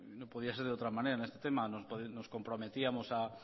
no podía ser de otra manera en este tema nos comprometíamos a